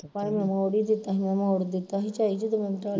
ਭਾਵੇ ਮੈਂ ਮੋੜ ਹੀ ਦਿੱਤਾ ਮੈਂ ਮੋੜ ਦਿੱਤਾ ਹੀ ਝਾਈ ਜਦੋਂ